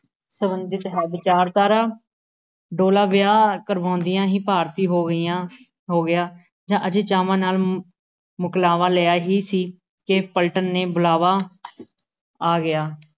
ਸੰਬੰਧਿਤ ਹੈ, ਵਿਚਾਰਧਾਰ ਡੋਲਾ ਵਿਆਹ ਕਰਵਾਉਂਦਿਆਂ ਹੀ ਭਾਰਤੀ ਹੋ ਗਈਆਂ, ਹੋ ਗਿਆ ਅਜੇ ਚਾਵਾਂ ਨਾਲ ਮੁਕਲਾਵਾ ਲਿਆਇਆ ਹੀ ਸੀ ਕਿ ਪਲਟਣ ਨੇ ਬੁਲਾਵਾ ਆ ਗਿਆ,